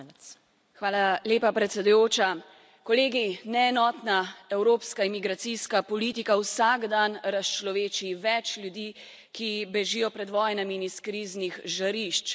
Gospa predsedujoča, kolegi, neenotna evropska emigracijska politika vsak dan razčloveči več ljudi, ki bežijo pred vojnami in iz kriznih žarišč.